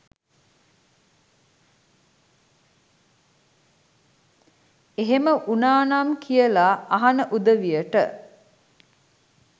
එහෙම උනානම් කියලා අහන උදවියට